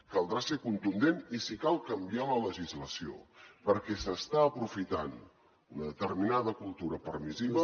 caldrà ser contundent i si cal canviar la legislació perquè s’està aprofitant una determinada cultura permissiva